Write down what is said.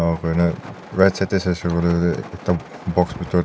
bernan right side tey saishe koile tu ekta box bhetor tey.